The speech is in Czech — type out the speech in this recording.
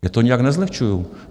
Já to nijak nezlehčuju.